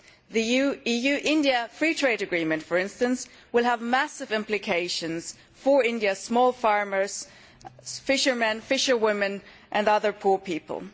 The EU India free trade agreement, for instance, will have massive implications for India's small farmers, fishermen, fisherwomen and other poor people.